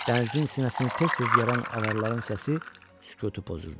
Dənizin sinəsini tez-tez yaran avaraların səsi sükutu pozurdu.